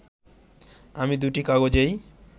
আমি দুটি কাগজেই